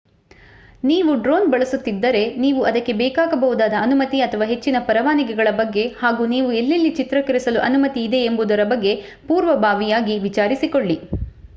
ನೀವು ಡ್ರೋನ್ ಬಳಸುತ್ತಿದ್ದರೆ ನೀವು ಅದಕ್ಕೆ ಬೇಕಾಗಬಹುದಾದ ಅನುಮತಿ ಅಥವಾ ಹೆಚ್ಚಿನ ಪರವಾನಗಿಗಳ ಬಗ್ಗೆ ಹಾಗೂ ನೀವು ಎಲ್ಲೆಲ್ಲಿ ಚಿತ್ರೀಕರಿಸಲು ಅನುಮತಿ ಇದೆ ಎಂಬುದರ ಬಗ್ಗೆ ಪೂರ್ವಭಾವಿಯಾಗಿ ವಿಚಾರಿಸಿಕೊಳ್ಳಿ